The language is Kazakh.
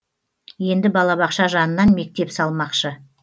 енді балабақша жанынан мектеп салмақшы